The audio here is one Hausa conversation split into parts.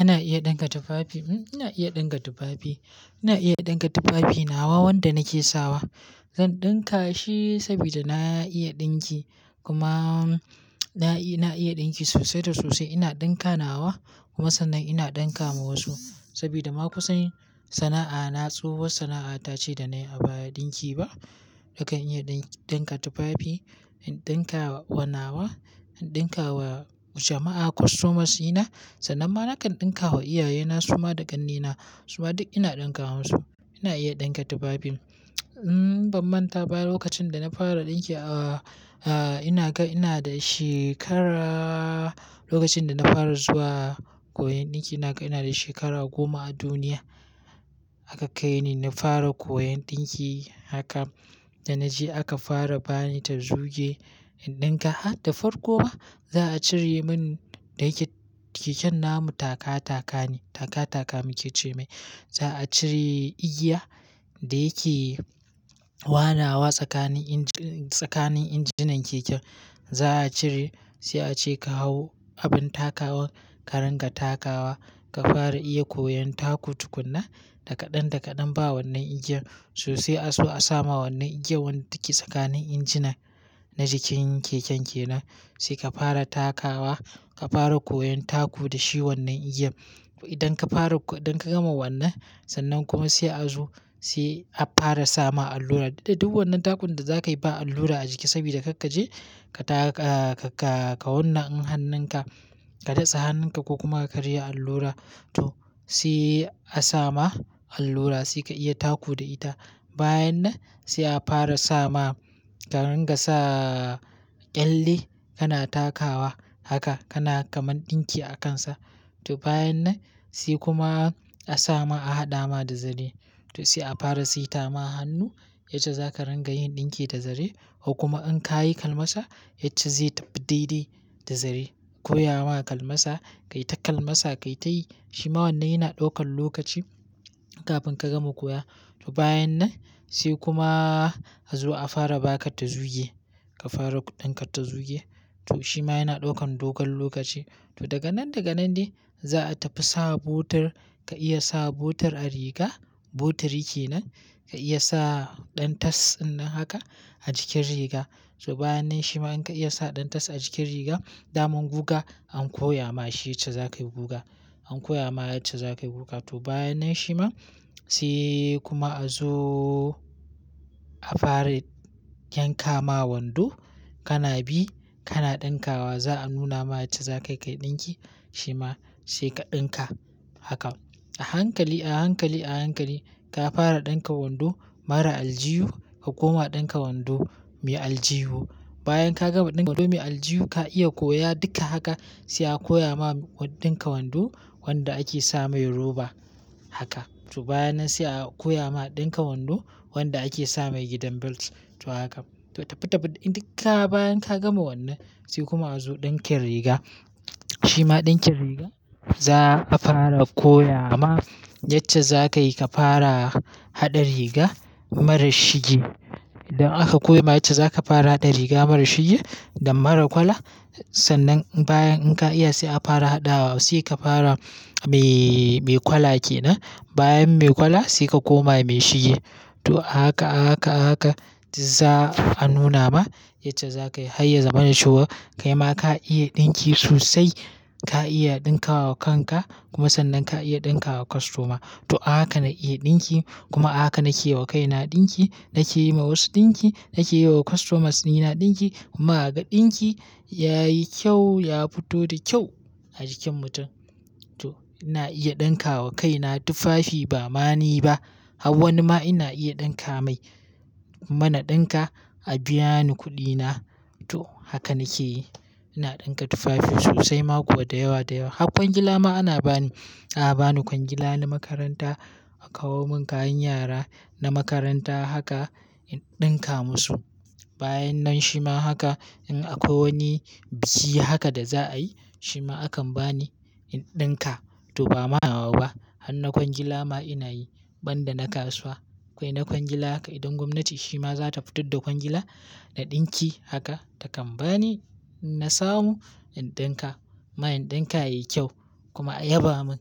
Ana iya ɗinka tufafi. Ina iya ɗincka tufafi. Ina iya ɗinka tufafi. Nawa wanda nake sawa zan ɗinka shi saboda na iya ɗinki kuma na iya ɗinki sosai da sosai. Ina ɗinka nawa kuma sannan ina ɗinka ma wasu saboda ma kusan sana'a na tsohuwar sana'a ta ce da na yi a baya. Ɗinki ba, akan iya ɗinka tufafi, in ɗinka wa nawa, in ɗinka wa jama'a, customers na, sannan ma na kan ɗinka wa iyaye na suma da ƙannena. Kuma duk ina ɗinka musu. Ina iya ɗinka tufafi. Ban manta ba lokacin da na fara ɗinki, ina ga ina da shekara Lokacin da na fara zuwa koyan ɗinki, ina ga ina da shekara goma a duniya. Aka kai ni na fara koyan ɗinki haka. Da na je aka fara ba ni ta zuge in ɗinka. Da farko ba, za a cire min da yake keken namu taka taka ne. Taka taka muke ce mai. Za a cire igiya da yake wanawa tsakanin inji, tsakanin injinan keken. Za a cire sai a ce ka hau abin takawa ka ringa takawa ka fara iya koyon taku tukunna Dakaɗan dakaɗan ba wannan igiyar sosai. A so a sama wannan igiyar wadda take tsakanin injinan na jikin keken ke nan. Sai ka fara takawa ka fara koyon taku da shi wannan igiyan. Idan ka fara, idan ka gama wannan sannan kuma sai a zo sai a fara sama allura. Dubi wannan takun da za ka yi ba allura a jiki saboda duk ka je ka ta, ka wanna in hannun ka, ka datse hannun ka ko kuma ka karya allura. To sai a sama allura sai ka iya taku da ita. Bayan nan sai a fara sama ka ringa sa ƙyalle kana takawa haka kana kamar ɗinki a kansa. To bayan nan sai kuma a sama a haɗa ma da zare. To sai a fara siita ma hannu yace za ka ringa yin ɗinki da zare. Kuma in ka yi kalmasa yace zai tafi daidai da zare. Koya ma kalmasa, ka yi ta kalmasa ka yi tayi. Shi ma wannan yana ɗaukan lokaci kafin ka gama koya. To bayan nan sai kuma a zo a fara baka ta zuge ka fara ɗinka ta zuge. To shi ma yana ɗaukan dogon lokaci. To daga nan daga nan ne za a tafi sa botar ka iya sa botar a riga. Botir yake nan ka iya sa ɗantas ɗannan haka a jikin riga. To bayan nan shi ma in ka iya sa ɗantas a jikin riga, daman guga an koya ma shi yace za ka yi guga. An koya ma yace za ka yi guga. To bayan nan shi ma sai kuma a zo a fara yanka ma wando kana bi kana ɗinkawa. Za a nuna ma yace za ka kai ɗinki shi ma sai ka ɗinka haka. A hankali, a hankali, a hankali ka fara ɗinka wando mara aljihu ka koma ɗinka wando mai aljihu. Bayan ka gama ɗinka wando mai aljihu, ka iya koya duka haka sai a koya ma ɗinka wando wanda ake sa mai roba haka. To bayan nan sai a koya ma ɗinka wando wanda ake sa mai gidan belt. To haka. To tafi tafi duka bayan ka gama wannan sai kuma a zo ɗinkin riga. Shi ma ɗinkin riga za a fara koya ma yacce za ka yi ka fara haɗa riga mara shige. Idan aka koya ma yace za ka fara haɗa riga mara shige da mara kwala sannan bayan in ka iya sai a fara haɗawa. Sai ka fara mai, mai kwala yake nan. Bayan mai kwala sai ka koma mai shige. To a haka, a haka, a haka za a nuna ma yace za ka yi har ya zama na shigo kai ma ka iya ɗinki sosai. Ka iya ɗinkawa kanka kuma sannan ka iya ɗinka wa kostoma. To haka na iya ɗinki kuma haka na ke wa kaina ɗinki. Na ke yi ma wasu ɗinki. Na ke yi wa kostomas ni na ɗinki kuma aga ɗinki yayi kyau ya fito da kyau a jikin mutum. To ina iya ɗinka wa kaina tufafi ba ma ni ba. Hau wani ma ina iya ɗinka mai. Muna ɗinka a biya ni kuɗina. To haka nake yi. Ina ɗinka tufafi sosai ma kuwa da yawa da yawa. Hakon gila ma ana ba ni. A'a ba ni kwangila na makaranta a kawo mun kayan yara na makaranta haka in ɗinka musu. Bayan nan shi ma haka in akwai wani biki haka da za a yi shi ma akan ba ni in ɗinka. To ba ma nawa ba. Hanna kwangila ma ina yi banda na kasuwa. Kwai na kwangila haka idan gwamnati shi ma za ta fito da kwangila da ɗinki haka ta kan ba ni na samu in ɗinka. Ma in ɗinka yayi kyau kuma a yaba mun.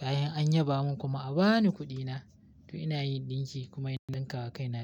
Bayan an yaba mun kuma a bani kuɗina. To ina yin ɗinki kuma ina ɗinka wa kaina.